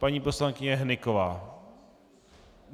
Paní poslankyně Hnyková.